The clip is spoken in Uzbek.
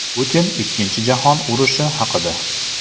Putin Ikkinchi jahon urushi haqida.